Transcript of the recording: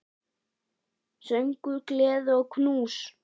Söngur, gleði og knús.